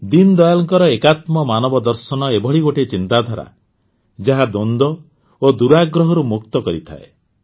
ଦୀନଦୟାଲଙ୍କର ଏକାତ୍ମ ମାନବଦର୍ଶନ ଏଭଳି ଗୋଟିଏ ଚିନ୍ତାଧାରା ଯାହା ଦ୍ୱନ୍ଦ୍ୱ ଓ ଦୂରାଗ୍ରହରୁ ମୁକ୍ତ କରିଥାଏ